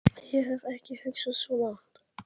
Ég hef ekki hugsað svo langt.